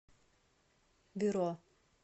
бюро